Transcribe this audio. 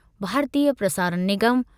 भारतीय प्रसारण निगम